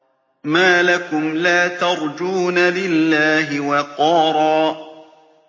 مَّا لَكُمْ لَا تَرْجُونَ لِلَّهِ وَقَارًا